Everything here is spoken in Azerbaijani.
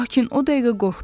Lakin o dəqiqə qorxdu.